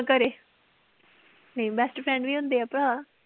ਘਰੇ ਨਈ best friend ਵੀ ਹੁੰਦੇ ਆ ਭਰਾ।